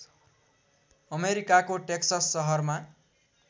अमेरिकाको टेक्सस सहरमा